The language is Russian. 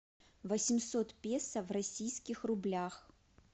восемьсот песо в российских рублях